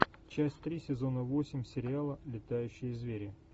часть три сезона восемь сериала летающие звери